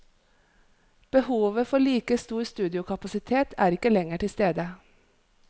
Behovet for like stor studiokapasitet er ikke lenger til stede.